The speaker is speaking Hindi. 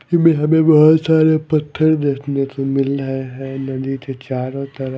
ई में हमें बहोत सारे पत्थर देखने से मिल रहे है नदी के चारों तरफ--